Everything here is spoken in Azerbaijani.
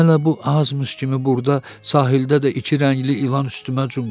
Hələ bu azmış kimi burda sahildə də iki rəngli ilan üstümə cumdu.